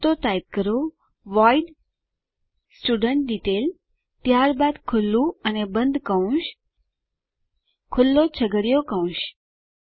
તો ટાઈપ કરો void student detail ત્યારબાદ ખુલ્લું અને બંધ કૌંસ ખુલ્લો છગડીયો કૌંસ